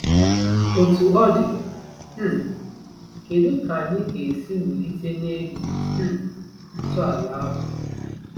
Otú ọ dị, um kedu ka anyị ga-esi wulite n’elu um ntọala ahụ?